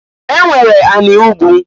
E nwere anị ugwu.